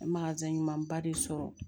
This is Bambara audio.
ɲumanba de sɔrɔ